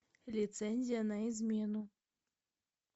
лицензия на измену